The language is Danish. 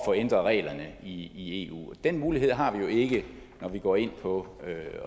ændret reglerne i eu den mulighed har vi jo ikke når vi går ind på